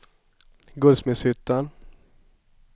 Guldsmedshyttan